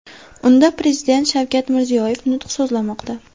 Unda Prezident Shavkat Mirziyoyev nutq so‘zlamoqda.